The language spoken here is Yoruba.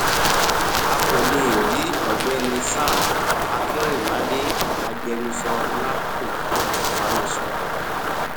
a kò lè è rí ọgbẹni sam akinrinmade agbẹnusọ nahco fún ìbánisọrọ ọ